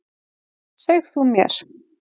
Seg þú mér.